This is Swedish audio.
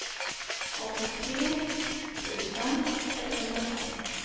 åttiotre tusen sexhundrafem